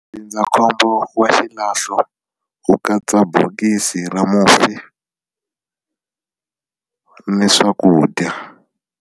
Ndzindzakhombo wa xilahlo wu katsa bokisi ra mufi ni swakudya.